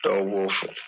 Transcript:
Dɔw b'o fɔ